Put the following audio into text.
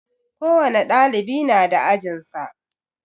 Ko wani dalibi na da ajin sa.